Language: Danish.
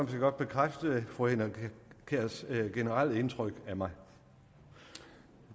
godt bekræfte fru henriette kjærs generelle indtryk af mig